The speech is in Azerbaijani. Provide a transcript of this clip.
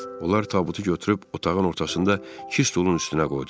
Onlar tabutu götürüb otağın ortasında iki stulun üstünə qoydular.